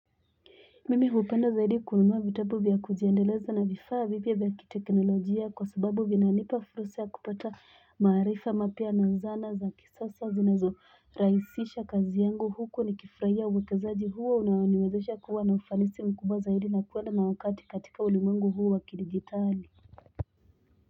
Mimi hupenda zaidi kununua vitabu vya kujiendeleza na vifaa vipya vya kitekinolojia kwa sababu vinanipa fursa ya kupata maarifa mapya na zana za kisasa zinazo raishisha kazi yangu huku ni kifurahia uwekezaji huo unaoniniwezesha kuwa na ufanisi mkubwa zaidi na kuenda na wakati katika ulimwengu huu wa kidijitali.